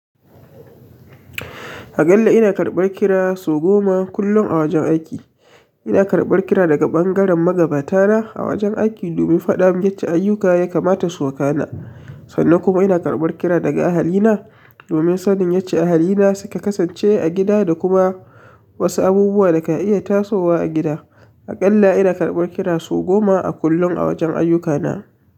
Aƙalla ina karɓar kira sau goma kullum a wajen aiki. Ina karɓar kira daga ɓangaren magabata na a wajen aiki domin faɗa mun yace ayyuka ya kamata su wakana. Sannan kuma ina karɓar kira daga ahalina domin sanin yace ahalina suka kasance a gida da kuma wasu abubuwa da ka iya tasowa a gida. Aƙalla ina karɓar kira sau goma a kullum a wajen ayyukana.